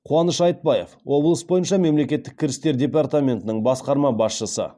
қуаныш айтбаев облыс бойынша мемлекеттік кірістер департаментінің басқарма басшысы